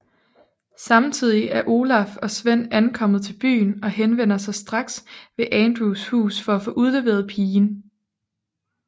Samtidigt er Olaf og Sven ankommet til byen og henvender sig straks ved Andrews hus for at få udleveret pigen